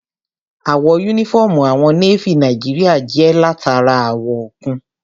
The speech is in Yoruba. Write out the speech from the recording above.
Àwọ̀ yúnífọ́ọ̀mù àwọn Nééfì Nàìjíríyà jẹ́ látara àwọ̀ òkun